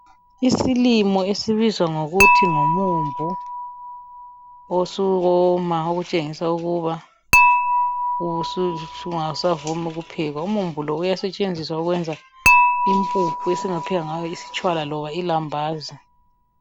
Isilimo esibizwa ngokuthi ngumumbu, osuwoma ukutshengisa ukuba angasazumi ukuphekwa. Umumbu lo uyasetshenziswa ukwenza imphuphu esingaphenga ngayo istshwala loba ilambazi.